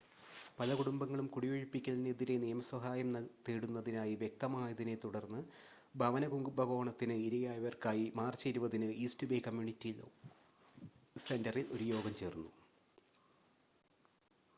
പല കുടുംബങ്ങളും കുടിയൊഴിപ്പിക്കലിന് എതിരെ നിയമ സഹായം തേടുന്നതായി വ്യക്തമായതിനെ തുടർന്ന് ഭവന കുംഭകോണത്തിന് ഇരയായവർക്കായി മാർച്ച് 20-ന് ഈസ്റ്റ് ബേ കമ്മ്യൂണിറ്റി ലോ സെൻ്ററിൽ ഒരു യോഗം നടന്നു